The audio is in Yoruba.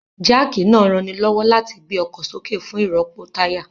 Jáàkì náà ranilọ́wọ́ láti gbé ọkọ̀ sókè fún ìrọ́pò táyà